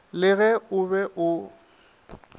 le ge o be o